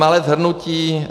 Malé shrnutí.